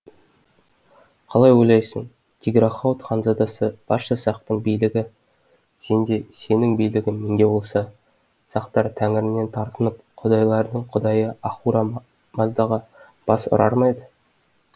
қалай ойлайсың тиграхауд ханзадасы барша сақтың билігі сенде сенің билігің менде болса сақтар тәңірінен тартынып құдайлардың құдайы ахура маздаға бас ұрар ма еді